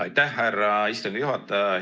Aitäh, härra istungi juhataja!